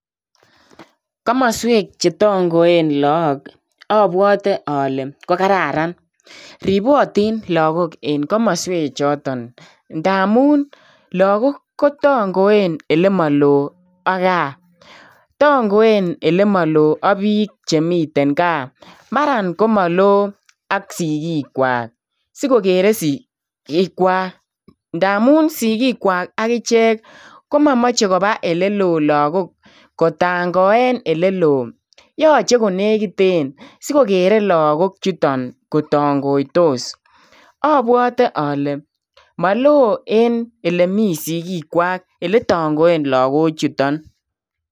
Komosweek che tangoen lagook abwate ale ko kararan ripotiin lagook en komosweek chotoon ndamuun lagook kotangoen ole maloo ak gaah tangoen ak ole maloo ak biik chemiten gaah mara komiteen ole maloo ak sigiikwaak sigogeri sigiikwaak ndamuun sigiikwaak agicheek komachei kochezaan lagook en ole maloo agicheek yachei konegiteen sigogerei lagook chutoon kotangoitos abwatee ale maloo en olemii sigiikwaak ele tangoen lagook chutoon.